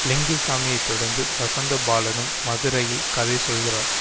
லிங்குசாமியை தொடர்ந்து வசந்தபாலனும் மதுரையில் கதை சொல்கிறார்